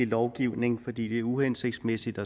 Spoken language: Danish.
lovgivning fordi det er uhensigtsmæssigt